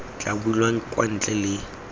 tla bulwang kwa ntle le